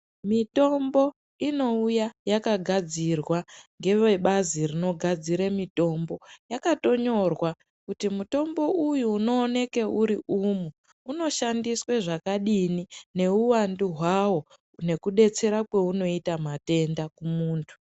Mitombo inouya yakagadzirwa ngevebazi rinogadzire mitombo yakatonyorwa kuti mutombo uyu unowoneke uri umu unoshandiswe zvakadini neuwandu hwao nekudetsera kweunoita matenda kumundu.